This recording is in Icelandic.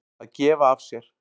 Að gefa af sér.